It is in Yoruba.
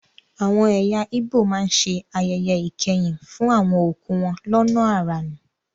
Àwọn ẹ̀yà ígbò má ń ṣe ayẹyẹ ìkẹyìn fún àwọn òkú wọn lọ́nà àrà ni